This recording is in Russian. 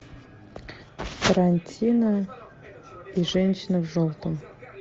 тарантино и женщина в желтом